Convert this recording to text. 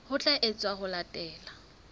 ho tla etswa ho latela